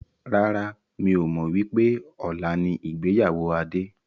Rárá, mi ò mọ wípé ọ̀la ni ìgbéyàwó Adé.